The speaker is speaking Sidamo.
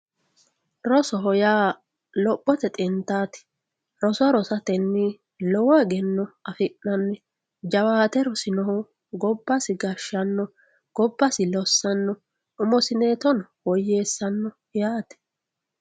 Rosoho yaa lophote xintaati roso rosateni lowo egenno afinani roso rosino manchi gobba gashara dandaano gobasi lossano umosineento woyeesano yaate